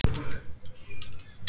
Elstu hraun